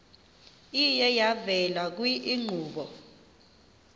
iye yavela kwiinkqubo